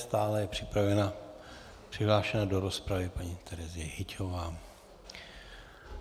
Stále je připravena, přihlášena do rozpravy, paní Terezie Hyťhová.